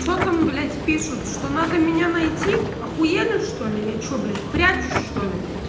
что там блять пишут что надо меня найти ахуели чтоли я что блять прячусь что ли блять